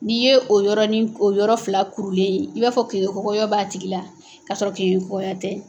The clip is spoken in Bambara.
N'i ye o yɔrɔnin o yɔrɔ fila kurulen ye i b'a fɔ kenkegɔyɔ b'a tigi la k'a sɔrɔ kenkekɔgɔya tɛ.